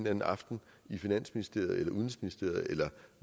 anden aften i finansministeriet udenrigsministeriet eller